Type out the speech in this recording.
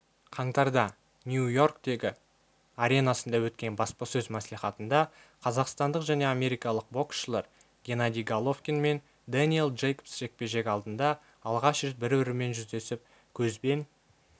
қаңтарда нью-йорктегі аренасында өткен баспасөз мәслихатында қазақстандық және америкалық боксшыларгеннадий головкинмендэниел джейкобс жекпе-жек алдында алғаш рет бір-бірімен жүздесіп көзбен